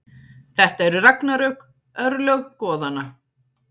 Þetta eru ragnarök, örlög goðanna.